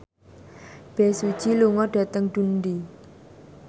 Bae Su Ji lunga dhateng Dundee